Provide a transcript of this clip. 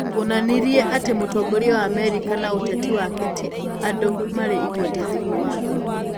Wonanirie atĩ mũtongoria wa Amerika na ũteti wake ti andũ marĩ igweta thĩinĩ wa thĩ.